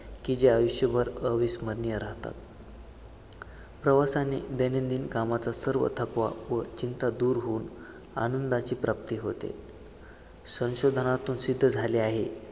की जे आयुष्यभर अविस्मरणीय राहतात. प्रवासाने दैनंदिन कामाचा सर्व थकवा व चिंता दूर होऊन आनंदाची प्राप्ती होते. संशोधनातून सिद्ध झाले आहे.